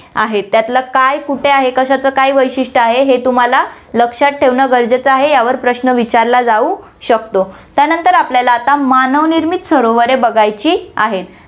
आहे. त्यातलं काय कूठे आहे, कशाचं काय वैशिष्ट आहे, हे तुम्हाला लक्षात ठेवणं गरजेचं आहे, यावर प्रश्न विचारला जाऊ शकतो. त्यानंतर आपल्याला आता मानव निर्मित सरोवरे बघायची आहेत.